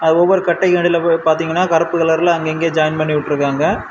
ஒவ்வொரு கட்டைக்கு அடியில போய் பாத்தீங்கன்னா கருப்பு கலர்ல அங்கங்க ஜாயிண்ட் பண்ணி விட்ருக்காங்க.